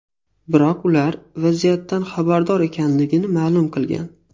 Biroq ular vaziyatdan xabardor ekanligini ma’lum qilgan.